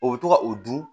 O bɛ to ka o dun